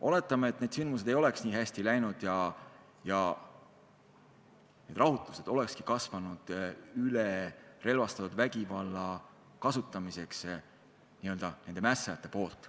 Oletame, et sündmused ei oleks nii hästi läinud ja rahutused oleks kasvanud üle relvastatud vägivalla kasutamiseks nende mässajate poolt.